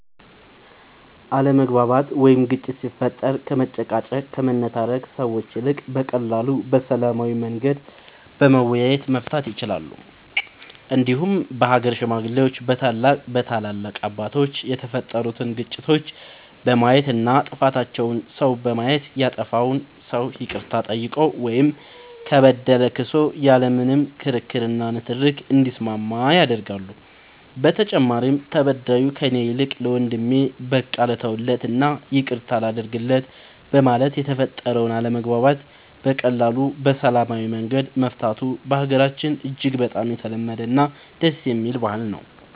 አለመግባባት ወይም ግጭት ሲፈጠር ከመጨቃጨቅ ከመነታረክ ሰዎች ይልቅ በቀላሉ በሰላማዊ መንገድ በመወያየት መፍታት ይቻላል እንዲሁም በሀገር ሽማግሌዎች በታላላቅ አባቶች የተፈጠሩትን ግጭቶች በማየት እና ጥፋተኛውን ሰው በማየት ያጠፋው ሰው ይቅርታ ጠይቆ ወይም ከበደለ ክሶ ያለ ምንም ክርክር እና ንትርክ እንዲስማማ ያደርጋሉ በተጨማሪም ተበዳዩ ከእኔ ይልቅ ለወንድሜ በቃ ልተውለት እና ይቅርታ ላድርግለት በማለት የተፈጠረውን አለመግባባት በቀላሉ በሰላማዊ መንገድ መፍታቱ በሀገራችን እጅግ በጣም የተለመደ እና ደስ የሚል ባህል ነው።